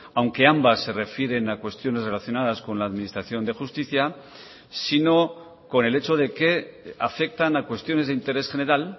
aunque ambas se refieren a cuestiones relacionadas con la administración de justicia sino con el hecho de que afectan a cuestiones de interés general